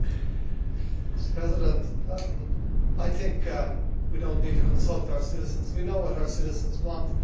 Mr President, I think we do not need to consult our citizens, we know what our citizens want.